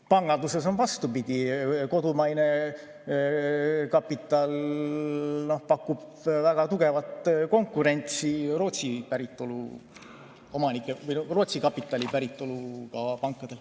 Panganduses on vastupidi: kodumaine kapital pakub väga tugevat konkurentsi Rootsi päritolu kapitaliga pankadele.